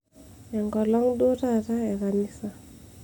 enkolong' duo taata ekanisa